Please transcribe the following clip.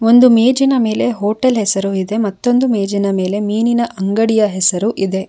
ಒಂದು ಮೇಜಿನ ಮೇಲೆ ಹೋಟೆಲ್ ಹೆಸರು ಇದೆ ಮತ್ತೊಂದು ಮೇಜಿನ ಮೇಲೆ ಮೀನಿನ ಅಂಗಡಿಯ ಹೆಸರು ಇದೆ.